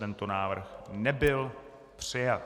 Tento návrh nebyl přijat.